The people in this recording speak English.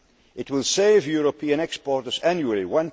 it now. It will save European exporters